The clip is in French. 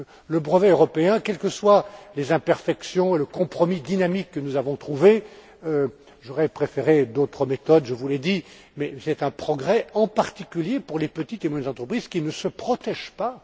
vrai. Le brevet européen, quels que soient ses imperfections et le compromis dynamique que nous avons trouvé j'aurais préféré d'autres méthodes, je vous l'ai dit est un progrès, en particulier, pour les petites et moyennes entreprises qui ne se protègent